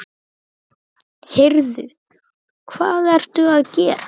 Heyrðu. hvað ertu að gera?